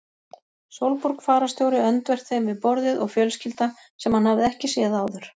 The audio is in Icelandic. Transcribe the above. Sólborg fararstjóri öndvert þeim við borðið og fjölskylda sem hann hafði ekki séð áður.